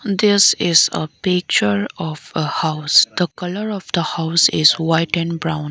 this is a picture of a house the colour of the house is white and brown